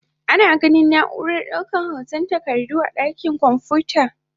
Ana ganin na'urar daukar hotan takardu a dakin kwamfuta.